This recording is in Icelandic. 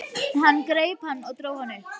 Hann greip hann og dró hann upp.